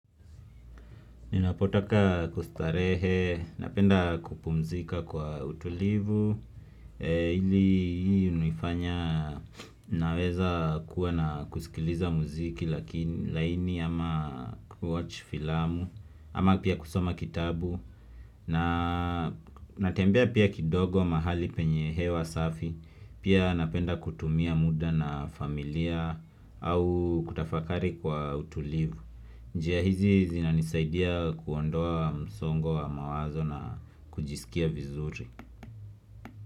Ninapotaka kustarehe, napenda kupumzika kwa utulivu Hili hunifanya naweza kuwa na kusikiliza muziki lakini laini ama kuwatch filamu, ama pia kusoma kitabu natembea pia kidogo mahali penye hewa safi Pia napenda kutumia muda na familia au kutafakari kwa utulivu njia hizi zinanisaidia kuondoa msongo wa mawazo na kujisikia vizuri.